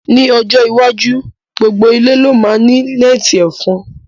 Ni, ọjọ́ iwájú, gbogbo ilé ló máa ní nẹ́ẹ̀tì ẹ̀fọn